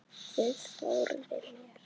Guð forði mér.